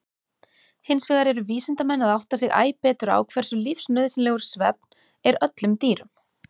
Hinsvegar eru vísindamenn að átta sig æ betur á hversu lífsnauðsynlegur svefn er öllum dýrum.